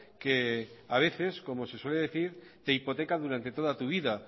que a veces como se suele decir te hipoteca durante toda tu vida